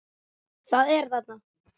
Það er þarna!